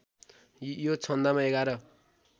यो छन्दमा एघार